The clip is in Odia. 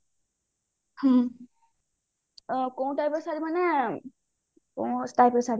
ହୁଁ କୋଉ type ର ଶାଢୀ ମାନେ